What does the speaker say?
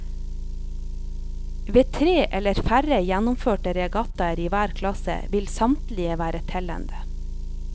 Ved tre eller færre gjennomførte regattaer i hver klasse vil samtlige være tellende.